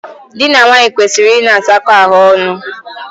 Dị na nwaanyị kwesịrị ịna asakọ ahụ ọnụ.